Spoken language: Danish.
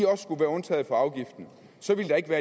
også skulle være undtaget fra afgiften så ville der ikke være